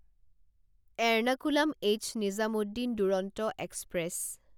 Ernakulam H Nizamuddin Duronto express